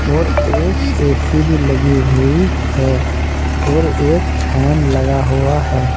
और एक ऐ_सी भी लगी हुई है और एक फैन लगा हुआ है।